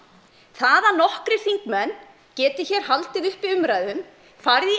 það að nokkrir þingmenn geti hér haldið uppi umræðum farið í